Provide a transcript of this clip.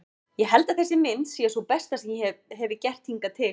Ég held að þessi mynd sé sú besta sem ég hefi gert hingað til.